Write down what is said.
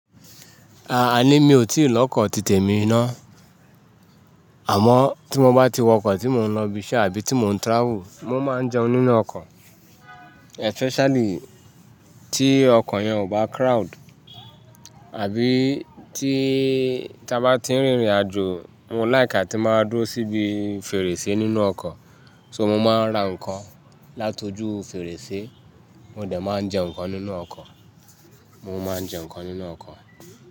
Aà ni mi ò tí lọ́kọ̀ títè mi ná. Àmọ́ tí mo bá ti wọkọ̀ tí mò ń lọ bí iṣẹ́ àbí tí mò ń travel, mò máa ń jẹun nínú ọkọ̀ especially tí ọkọ̀ yẹn ò bá crowd. Àbí tí táa bá ti rìnrìnàjò, mo like tí máa dúró síbi fèrèsé nínú ọkọ̀. So mò máa ń ra ǹkan látojú fèrèsé, mò dẹ̀ máa ń jẹun ǹkan nínú ọkọ̀, mò máa ń jẹun ǹkan nínú ọkọ̀